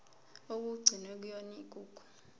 okugcinwe kuyona igugu